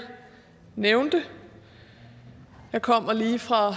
nævnt jeg kommer lige fra